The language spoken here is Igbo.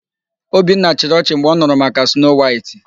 Obinna chịrị ọchị mgbe ọ nụrụ maka Snoo Waịtị.